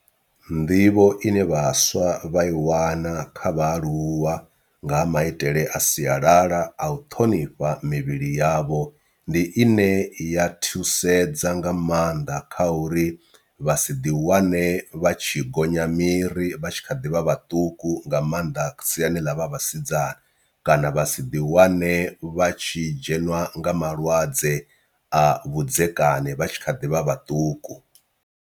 Nḓivho ine vhaswa vha i wana kha vhaaluwa nga ha maitele a sialala a u ṱhonifha mivhili yavho ndi i ne ya thusedza nga maanḓa kha uri vha si ḓi wane vha tshi gonya miri vha tshi kha ḓivha vhaṱuku nga maanḓa siani ḽa vha vhasidzana, kana vha si ḓi wane vha tshi dzhenwa nga malwadze a vhudzekani vha tshi kha ḓivha vhaṱuku.